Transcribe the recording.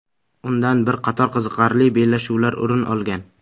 Undan bir qator qiziqarli bellashuvlar o‘rin olgan.